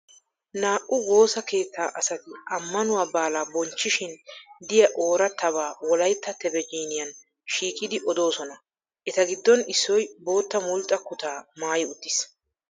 Naa''u woosa keetta asati ammanuwaa baala bonchchishin diyaa oorattaba wolayitta tebejiiniyaan shiiqidi odosona. Eta giddon issoyi boota mulxxa kutaa maayi uttis.